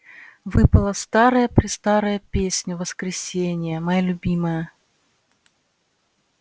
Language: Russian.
выпала старая-престарая песня воскресения моя любимая